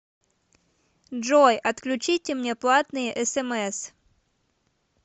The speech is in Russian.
джой отключите мне платные смс